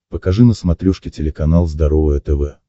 покажи на смотрешке телеканал здоровое тв